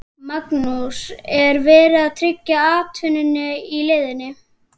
Magnús: Er verið að tryggja atvinnu í leiðinni?